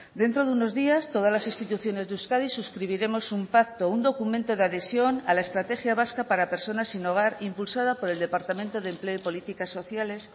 dentro de unos días todas las instituciones de euskadi suscribiremos un pacto un documento de adhesión a la estrategia vasca para personas sin hogar impulsada por el departamento de empleo y políticas sociales